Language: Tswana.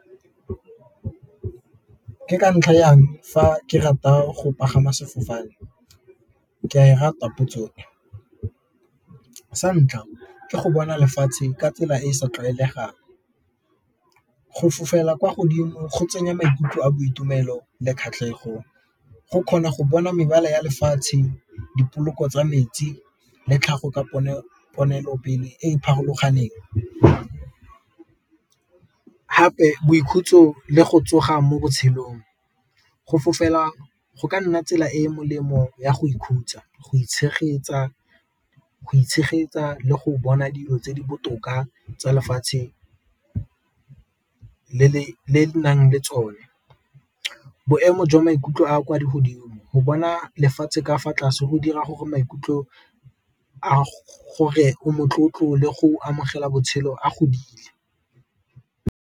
Ke ka ntlha ya eng fa ke rata go pagama sefofane, ke a e rata potso e sa ntlha ke go bona lefatshe ka tsela e e sa tlwaelegang go fofela kwa godimo go tsenya maikutlo a boitumelo le kgatlhego go kgona go bona mebala ya lefatshe, dipoloko tsa metsi, le tlhago ka diponelopele e e boikhutso le go tsoga mo botshelong. Go fofela go ka nna tsela e e molemo ya go ikhutsa go itshegetsa le go bona dilo tse di botoka tsa lefatshe le le nang le tsone. Boemo jwa maikutlo a a kwa godimo go bona lefatshe ka fa tlase go dira gore maikutlo a gore o motlotlo le go amogela botshelo a godile.